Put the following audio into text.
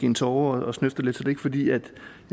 en tåre og snøfter lidt er det ikke fordi jeg